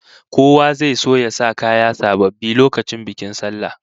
Kowa zai so ya sa kaya sababbi lokacin bikin sallah